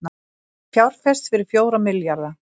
Fjárfest fyrir fjóra milljarða